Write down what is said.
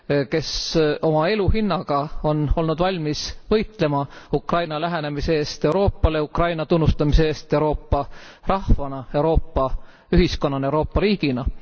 kes oma elu hinnaga on olnud valmis võitlema Ukraina lähenemise eest Euroopale, Ukraina tunnustamise eest Euroopa rahvana, Euroopa ühiskonnana, Euroopa riigina.